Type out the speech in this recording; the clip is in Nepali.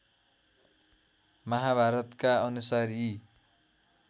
महाभारतका अनुसार यी